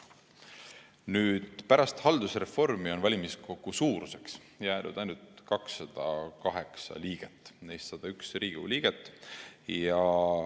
Nüüd, pärast haldusreformi on valimiskogu suuruseks jäänud ainult 208 liiget, neist 101 on Riigikogu liikmed.